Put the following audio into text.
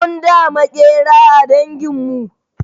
Mun da Maƙera a dangin mu